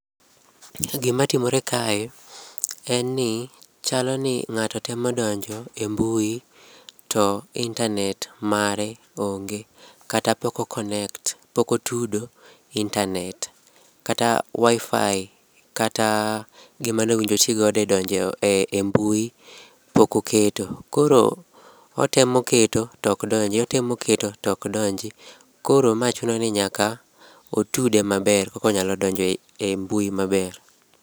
Gima timore kae en ni chalo ni ng'ato temo donjo e mbui, to internet mare onge kata pok o connect pok otudo internet, kata WiFi kata gima ne owinjo oti godo edonjo e mbui pok oketo. Koro otemo keto to ok donji, otemo keto to ok donji koro ma chune ni nyaka otude maber eka onyalo donjo e mbui maber.